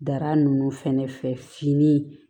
Dara nunnu fɛnɛ fɛ fini